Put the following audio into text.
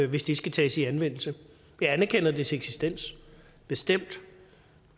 hvis det skal tages i anvendelse jeg anerkender dets eksistens bestemt